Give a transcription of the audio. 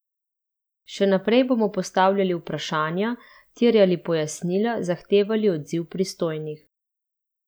Še naprej bomo postavljali vprašanja, terjali pojasnila, zahtevali odziv pristojnih ...